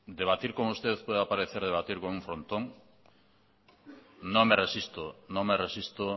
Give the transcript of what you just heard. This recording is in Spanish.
debatir con usted pueda parecer debatir con un frontón no me resisto